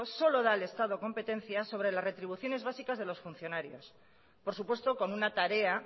solo da al estado competencias sobre las retribuciones básicas de los funcionarios por supuesto con una tarea